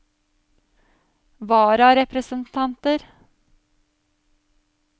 vararepresentanter